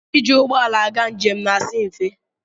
Ịjị ụgbọala aga njem na-asi mfe.